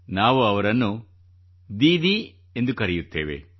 ನಾವು ಅವರನ್ನು ದೀದಿ ಎಂದು ಕರೆಯುತ್ತೇವೆ